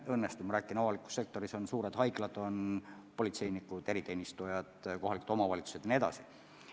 Avalikus sektoris on, nagu ma ütlesin, suured haiglad, on politseinikud, eriteenistujad, kohalikud omavalitsused jne.